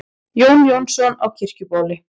Jón Jónsson á Kirkjubóli